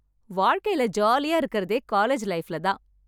வாழ்க்கையில ஜாலியா இருக்கிறதே காலேஜ் லைஃப்ல தான்